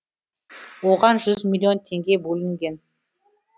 оған жүз миллион теңге бөлінген